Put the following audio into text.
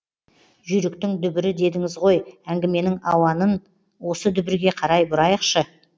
жүйріктің дүбірі дедіңіз ғой әңгіменің ауанын осы дүбірге қарай бұрайықшы